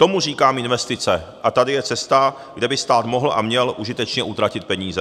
Tomu říkám investice, a tady je cesta, kde by stát mohl a měl užitečně utratit peníze.